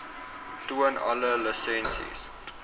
toon alle lisensies